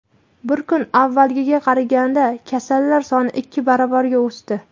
Bir kun avvalgiga qaraganda kasallar soni ikki baravarga o‘sdi.